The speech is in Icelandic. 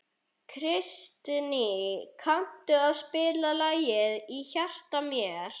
Kristný, kanntu að spila lagið „Í hjarta mér“?